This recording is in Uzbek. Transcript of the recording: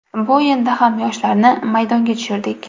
Bu o‘yinda ham yoshlarni maydonga tushirdik.